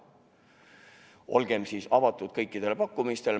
Olgem siis avatud kõikidele pakkumistele.